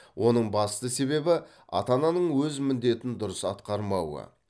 оның басты себебі ата ананың өз міндетін дұрыс атқармауы